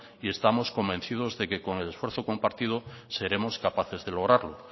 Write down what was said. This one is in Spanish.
y estamos convencido que con el esfuerzo compartido seremos capaces de lograrlo